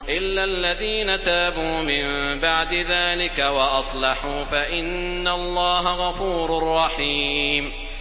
إِلَّا الَّذِينَ تَابُوا مِن بَعْدِ ذَٰلِكَ وَأَصْلَحُوا فَإِنَّ اللَّهَ غَفُورٌ رَّحِيمٌ